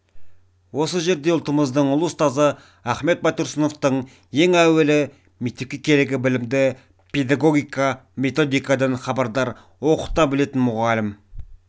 осы жерде ұлтымыздың ұлы ұстазы ахмет байтұрсыновтың ең әуелі мектепке керегі білімді педогогика методикадан хабардар оқыта білетін мұғалім